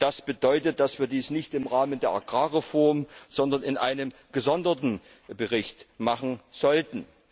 Das bedeutet, dass wir dies nicht im Rahmen der Agrarreform, sondern in einem gesonderten Bericht machen sollten.